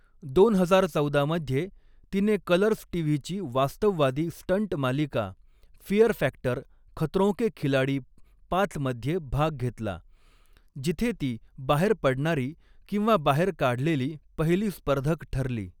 दोन हजार चौदा मध्ये तिने कलर्स टीव्हीची वास्तववादी स्टंट मालिका फिअर फॅक्टर खतरों के खिलाडी पाच मध्ये भाग घेतला, जिथे ती बाहेर पडणारी किंवा बाहेर काढलेली पहिली स्पर्धक ठरली.